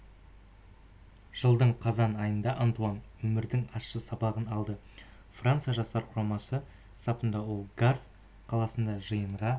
жылдың қазан айында антуан өмірдің ащы сабағын алды франция жастар құрамасы сапында ол гавр қаласында жиынға